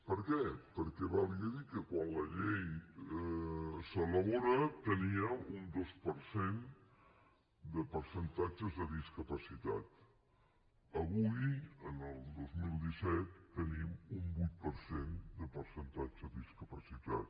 per què perquè valgui a dir que quan la llei s’elabora teníem un dos per cent de percentatge de discapacitat avui en el dos mil disset tenim un vuit per cent de percentatge de discapacitat